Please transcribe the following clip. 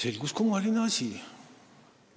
Selgus kummaline asi: